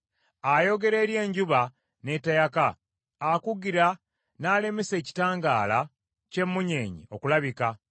Ayogera eri enjuba ne teyaka, akugira n’alemesa ekitangaala ky’emmunyeenye okulabika.